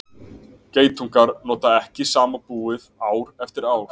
Geitungar nota ekki sama búið ár eftir ár.